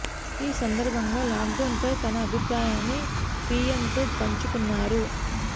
ఈ సందర్భంగా lockdown పై తన అభిప్రాయాన్ని పీఎంతో పంచుకున్నారు